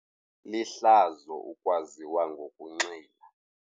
Lihlazo ukwaziwa ngokunxila.